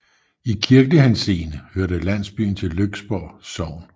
I kirkelig henseende hører landsbyen til Lyksborg Sogn